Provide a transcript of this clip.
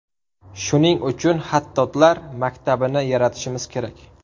Shuning uchun xattotlar maktabini yaratishimiz kerak.